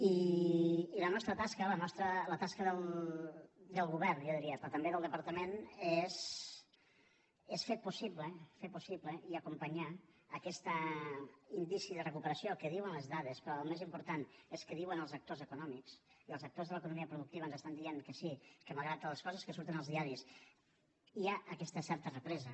i la nostra tasca la tasca del govern jo diria però també del departament és fer possible fer possible i acompanyar aquest indici de recuperació que ho diuen les dades però el més important és que ho diuen els actors econòmics i els actors de l’economia productiva ens estan dient que sí que malgrat totes les coses que surten als diaris hi ha aquesta certa represa